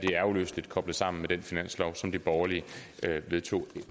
er uløseligt koblet sammen med den finanslov som de borgerlige vedtog